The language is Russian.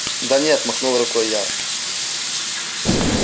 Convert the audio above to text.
да нет махнула рукой я